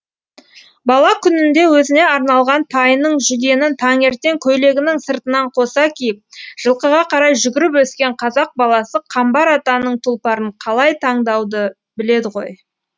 бала күнінде өзіне арналған тайының жүгенін таңертең көйлегінің сыртынан қоса киіп жылқыға қарай жүгіріп өскен қазақ баласы қамбар атаның тұлпарын қалай таңдауды біледі ғой